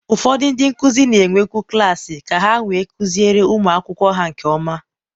ụfọdụ ndị nkuzi na-enwekwu klaasị ka ha wee kụziere ụmụ akwụkwọ ha nke ọma.